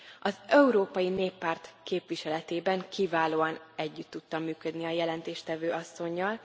Az Európai Néppárt képviseletében kiválóan együtt tudtam működni a jelentéstevő asszonnyal.